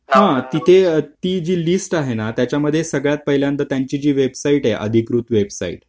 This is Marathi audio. थांब ना ती जी लिस्ट आहे ना त्याच्या मध्ये सगळ्यात पहिल्यांदा त्यांची वेबसाईट अधिकृत वेबसाईट